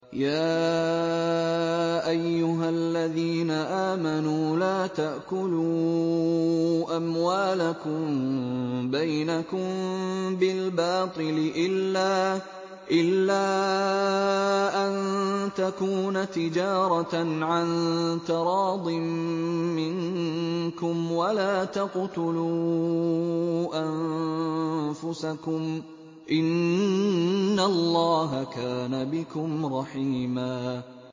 يَا أَيُّهَا الَّذِينَ آمَنُوا لَا تَأْكُلُوا أَمْوَالَكُم بَيْنَكُم بِالْبَاطِلِ إِلَّا أَن تَكُونَ تِجَارَةً عَن تَرَاضٍ مِّنكُمْ ۚ وَلَا تَقْتُلُوا أَنفُسَكُمْ ۚ إِنَّ اللَّهَ كَانَ بِكُمْ رَحِيمًا